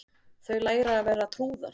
Þau læra að vera trúðar